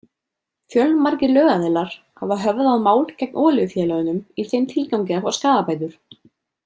Fjölmargir lögaðilar hafa höfðað mál gegn olíufélögunum í þeim tilgangi að fá skaðabætur.